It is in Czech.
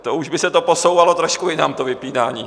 To už by se to posouvalo trošku jinam, to vypínání.